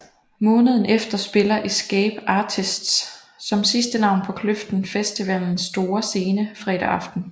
Måneden efter spiller Escape Artists som sidste navn på Kløften Festivalens store scene fredag aften